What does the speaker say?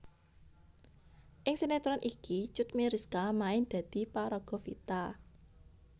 Ing sinetron iki Cut Meyriska main dadi paraga Vita